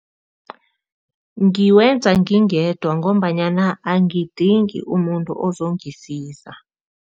Ngiwenza ngingedwa ngombanyana angidingi umuntu ozongisiza.